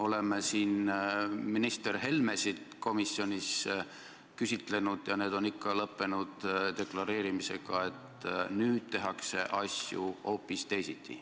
Oleme siin ministreid Helmesid komisjonis küsitlenud ja see on ikka lõppenud deklareerimisega, et nüüd tehakse asju hoopis teisiti.